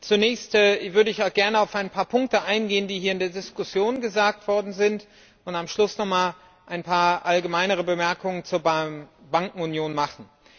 Zunächst würde ich gern auf einige Punkte eingehen, die hier in der Diskussion gesagt worden sind, und am Schluss nochmals ein paar allgemeinere Bemerkungen zur Bankenunion machen.